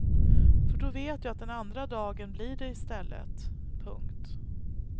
För då vet jag att den andra dagen blir det istället. punkt